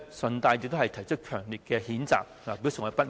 我在此順帶提出強烈譴責，以表示我的不滿。